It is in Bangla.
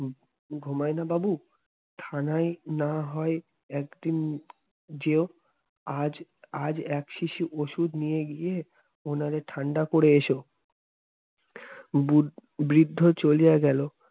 ঘুমায় না বাবু থানায় না হয় একদিন যেও আজ আর এক শিশি ওষুধ নিয়ে গিয়ে ওনারে ঠান্ডা করে এসো বৃদ্ধ চলিয়া গেল